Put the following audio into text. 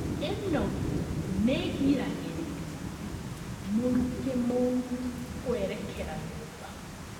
ĩno nĩgiragĩrĩria mũrukĩ mũru kwerekera nyũmba